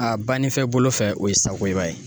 A bannifɛ bolo fɛ o ye Sakoiba ye.